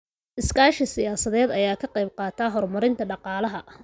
Iskaashiga siyaasadeed ayaa ka qayb qaata horumarinta dhaqaalaha.